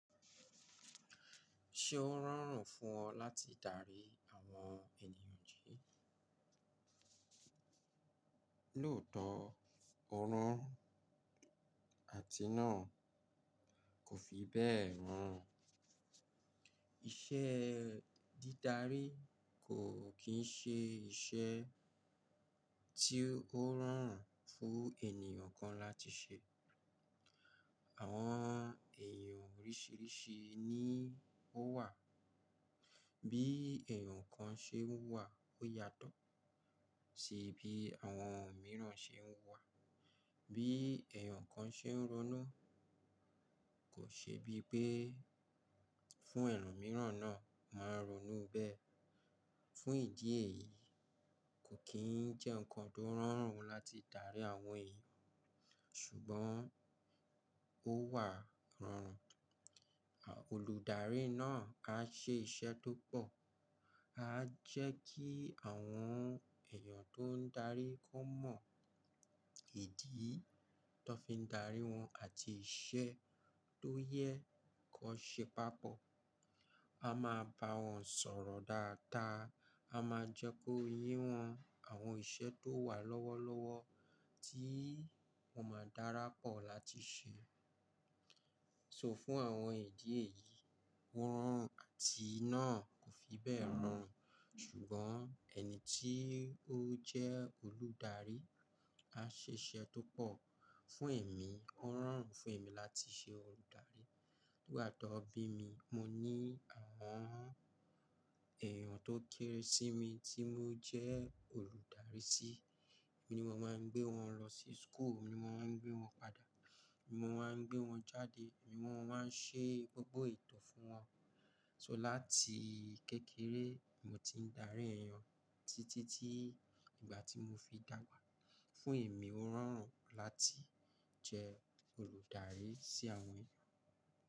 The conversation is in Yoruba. Ṣé ó rọrùn fún ọ láti darí àwọn ènìyàn jí? Lóòótọ́, òórùn àti náà kò fi bẹ́ẹ̀ rán. Iṣẹ́ dídá ri kò kì ń ṣe iṣẹ́ tí ó rọrùn fún ènìyàn kan láti ṣe. Àwọn eyan oríṣìíríṣìí ni ó wà. Bí èèyàn kan ṣe ń wà ó yàtọ̀ sí bí àwọn mìíràn ṣe ń wà. Bí èèyàn kan ṣe ń ronú kò n ṣe bí pé fún ẹlòmíràn náà máa n ronú bẹ́ẹ̀. Fún ìdí èyí, kò kì ń jẹ́ nǹkan tó rọrùn láti darí àwọn èèyàn. Ṣùgbọ́n ó wà rọrùn. Olùdarí náà á ṣe iṣẹ́ tó pọ̀, á jẹ́ kí àwọn èèyàn tó ń darí kó mọ ìdí tọ fi ń darí wọn àti iṣẹ́ tó yẹ kọ ṣe papọ̀. A máa bá wọn sọ̀rọ̀ dáadaa, a máa jẹ́ kó yé wọn àwọn iṣẹ̀ tó wà lọ́wọ́lọ́wọ́ tí wọ́n máa dárápọ̀ láti ṣe. Sọ fún àwọn ìdí èyí, ó rọrùn àti náà kò fi bẹ́ẹ̀ rọ run. Ṣùgbọ́n ẹni tí ó jẹ́ olùdarí á ṣe iṣẹ́ tó pọ̀. Fún èmi, ó rọrùn fún èmi láti ṣe olùdarí. Nígbà tọ bí mi, mo ní àwọn èèyàn tó kéré sí mi tí mo jẹ́ olùdarí sí. Èmi ni mo máa ń gbé wọn lọ sí school, èmi mo máa ń gbé wọn padà, èmi mo máa ń gbé wọn jáde, èmi mo máa ń ṣe gbogbo eto fún wọn. So láti kékeré, mo ti ń darí èèyàn títí tí ìgbà tí mo fi dàgbà. Fún èmi, ó rọrùn láti jẹ́ olùdarí sí àwọn èèyàn.